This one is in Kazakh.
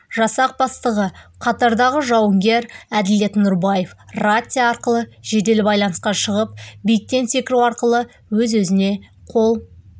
жасақ бастығы қатардағы жауынгер әділет нұрбаев рация арқылы жедел байланысқа шығып биіктен секіру арқылы өз-өзіне қол